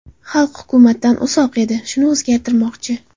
Xalq hukumatdan uzoq edi, shuni o‘zgartirmoqchi.